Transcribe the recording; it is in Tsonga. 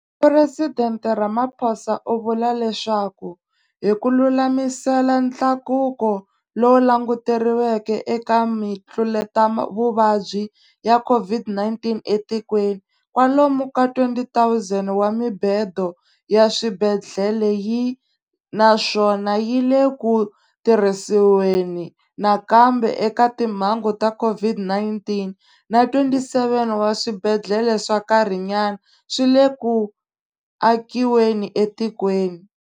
Phuresidente Ramaphosa u vula leswaku, hi ku lulamisela ntlakuko lowu languteriweke eka mitluletavuvabyi ya COVID-19 etikweni, kwalomu ka 20 000 wa mibedo ya swibedhlele yi, naswona yi le ku tirhisiweni nakambe eka timhangu ta COVID-19, na 27 wa swibedhlele swa nkarhinyana swi le ku akiweni etikweni.